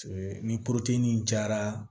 Ni jara